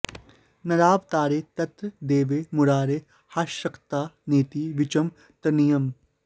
नरावतारे तत्र देवे मुरारे ह्यशक्तता नेति विचं तनीयम्